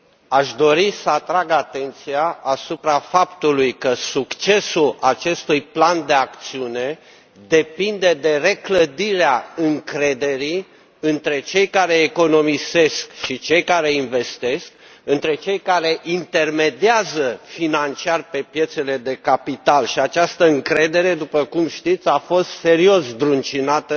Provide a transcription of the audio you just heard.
Aș dori să atrag atenția asupra faptului că succesul acestui plan de acțiune depinde de reclădirea încrederii între cei care economisesc și cei care investesc, între cei care intermediază financiar pe piețele de capital, dar această încredere, după cum știți, a fost serios zdruncinată